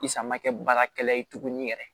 Isa ma kɛ baarakɛla ye tuguni yɛrɛ